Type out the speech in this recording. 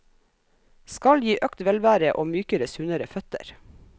Skal gi økt velvære og mykere, sunnere føtter.